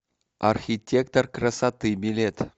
архитектор красоты билет